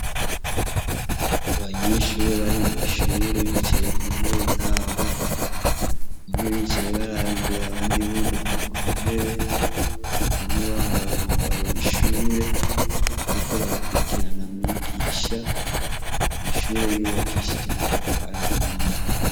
Abanyeshuri bari mw'ishure bicaye kuntebe zabo, bamwe bicaye baraba imbere abandi bunamye kuntebe, bamwe bambaye umwambaro w'ishure bariko barakurikirana mwigisha, amashure yubakishije amatafari ahiye.